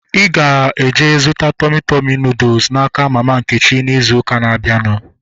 Ịga eje zụta Tọmị Tọmị nudụ n'aka mama Nkechi izu ụka na-abịanụ